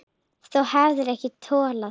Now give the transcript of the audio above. Þú hefðir ekki tollað þar.